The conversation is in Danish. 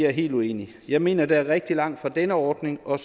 er helt uenig jeg mener der er rigtig langt fra denne ordning og